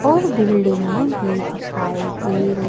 और बिल्डिंगे भी दिखाई दे रही--